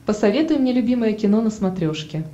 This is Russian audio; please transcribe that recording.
посоветуй мне любимое кино на смотрешке